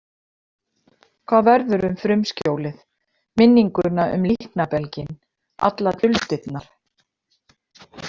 Hvað verður um frumskjólið, minninguna um líknarbelginn, allar duldirnar?